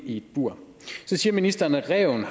i et bur så siger ministeren at ræven